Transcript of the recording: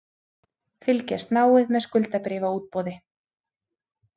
Fylgjast náið með skuldabréfaútboði